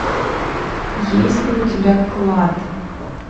есть ли у тебя клад